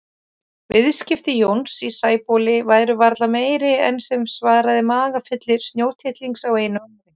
Viðskipti Jóns í Sæbóli væru varla meiri en sem svaraði magafylli snjótittlings á einu ári.